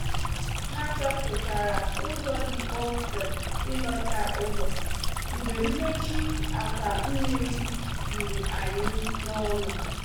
Ha chọpụtara ụzọ dị kpomkwem ilọta ụlọ mgbe mmechi akwa mmiri juru anyị n’ọnụ.